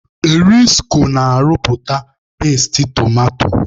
Erisko na-arụpụta peesti tomato.